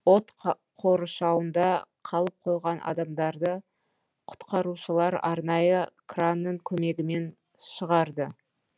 от қоршауында қалып қойған адамдарды құтқарушылар арнайы кранның көмегімен шығарды